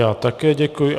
Já také děkuji.